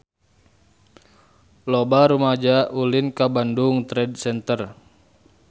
Loba rumaja ulin ka Bandung Trade Center